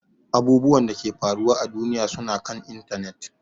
Abubwan Dake ke faruwa à duniya suna kan intanet.